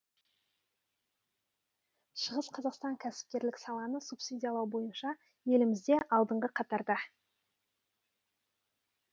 шығыс қазақстан кәсіпкерлік саланы субсидиялау бойыншаелімізде алдыңғы қатарда